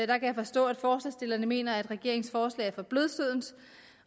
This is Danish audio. kan jeg forstå at forslagsstillerne mener at regeringens forslag er for blødsødent